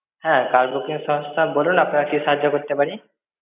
হ্যাঁ, car booking সংস্থা. বলুন আপনাকে কি সাহায্য করতে পারি?